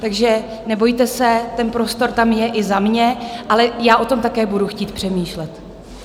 Takže nebojte se, ten prostor tam je i za mě, ale já o tom také budu chtít přemýšlet.